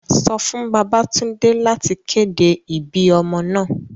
Sọ fun Babatunde lati kede ibi ọmọ naa!